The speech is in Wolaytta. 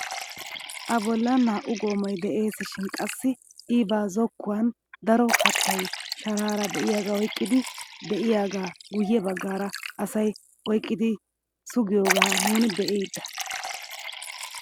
A bollan naa"u goomay de'esishin qassi i ba zokkuwaan daro kattaay sharaara de'iyaaga oyqqidi de'iyaagaa guye baggaara asay oyqqidi sugiyoogaa nuni be'ida.